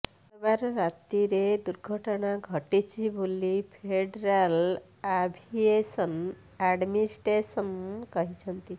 ମଙ୍ଗଳବାର ରାତିରେ ଦୁର୍ଘଟଣା ଘଟିଛି ବୋଲି ଫେଡେରାଲ୍ ଆଭିଏସନ୍ ଆଡ୍ମିନିଷ୍ଟ୍ରେସନ୍ କହିଛି